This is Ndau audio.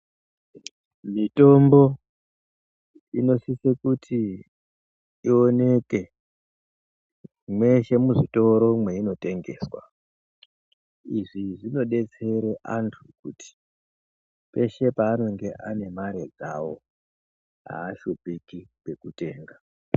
Mitombo inosise kuti ioneke mweshe muzvitoro mweinotengeswa. lzvi zvinodetsere antu kuti peshe paanonga ane mare dzawo aashupiki kwekutenga .